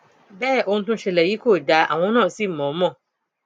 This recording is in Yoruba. bẹẹ ohun tó ń ṣẹlẹ yìí kò dáa àwọn náà sí mọ mọ